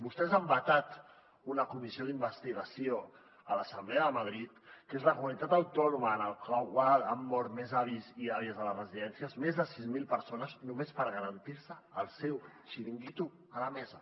vostès han vetat una comissió d’investigació a l’assemblea de madrid que és la comunitat autònoma en la qual han mort més avis i àvies a les residències més de sis mil persones només per garantir se el seu xiringuito a la mesa